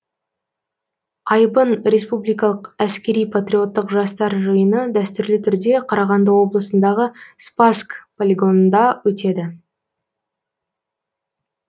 айбын республикалық әскери патриоттық жастар жиыны дәстүрлі түрде қарағанды облысындағы спасск полигонында өтеді